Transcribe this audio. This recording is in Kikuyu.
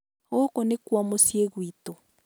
gũũkũ nĩkuo muciĩ gwĩtũ